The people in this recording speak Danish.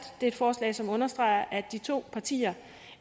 det er et forslag som understreger at de to partier